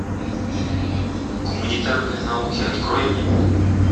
гуманитарные науки открой мне